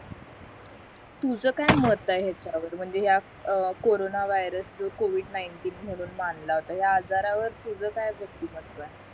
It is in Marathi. तुझं काय मत आहे ह्याच्यावर म्हंजे ह्या कॉरोना वायर्स जो covid नाईंटीन म्हून मानला होता ह्या आजार वर तुझं काय व्यक्तिमहत्व आहे